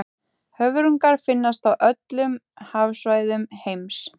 höfrungar finnast á öllum hafsvæðum heims